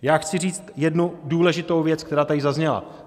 Já chci říct jednu důležitou věc, která tady zazněla.